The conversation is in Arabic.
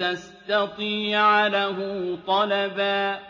تَسْتَطِيعَ لَهُ طَلَبًا